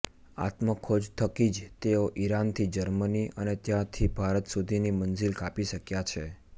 આત્મખોજ થકી જ તેઓ ઈરાનથી જર્મની અને ત્યારથી ભારત સુધીની મંઝીલ કાપી શકયા છે